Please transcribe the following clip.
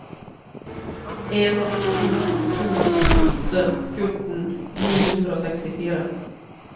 en to to åtte fjorten ni hundre og sekstifire